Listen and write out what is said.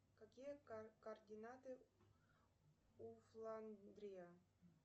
какие координаты у фландрия